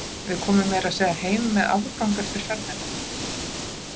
Við komum meira að segja heim með afgang eftir ferðina.